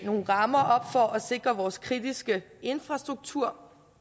nogle rammer op for at sikre vores kritiske infrastruktur